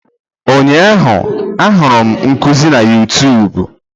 Ụnyaahụ, ahụrụ m nkuzi na Yutubu.